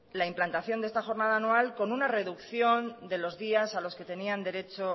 la implantación de esta jornada anual con una reducción de los días a los que tenían derecho